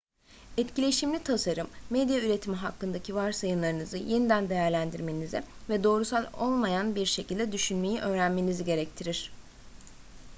etkileşimli tasarım medya üretimi hakkındaki varsayımlarınızı yeniden değerlendirmenizi ve doğrusal olmayan bir şekilde düşünmeyi öğrenmenizi gerektirir